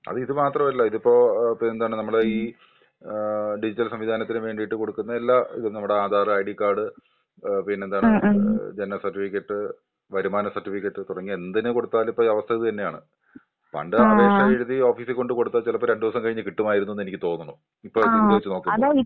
അത് ഇത് മാത്രല്ല ഇതിപ്പൊ പിന്നെന്താണ് ഓ ഡിജിറ്റൽ സംവിധാനത്തിനും വേണ്ടീട്ട് കൊടുക്കുന്ന എല്ലാ ഇതും നമ്മുടെ ആധാർ, ഐഡി കാർഡ് ഏ പിന്നെന്താണ് ജനന സർട്ടിഫിക്കറ്റ്, വരുമാന സർട്ടിഫിക്കറ്റ് തുടങ്ങിയ എന്തിനു കൊടുത്താലും അവസ്ഥ ഇത് തന്നെയാണ്. പണ്ട് അപേക്ഷ എഴുതി ഒഫിസിൽ കൊണ്ടു കൊടുത്താ ചിലപ്പോ രണ്ടൂസം കഴിഞ്ഞു കിട്ടുമായിരിക്കുമെന്നു തോന്നുന്നു. ഇപ്പഴത്തെ ഇത് വെച്ചു നോക്കുമ്പം.